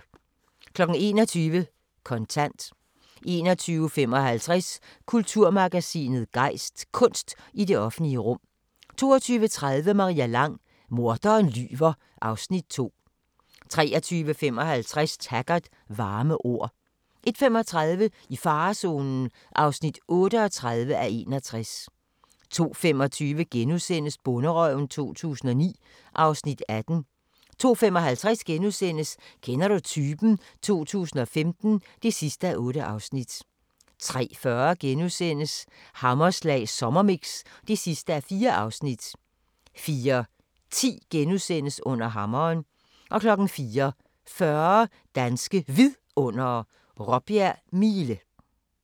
21:00: Kontant 21:55: Kulturmagasinet Gejst: Kunst i det offentlige rum 22:30: Maria Lang: Morderen lyver (Afs. 2) 23:55: Taggart: Varme ord 01:35: I farezonen (38:61) 02:25: Bonderøven 2009 (Afs. 18)* 02:55: Kender du typen? 2015 (8:8)* 03:40: Hammerslag Sommermix (4:4)* 04:10: Under hammeren * 04:40: Danske Vidundere: Råbjerg Mile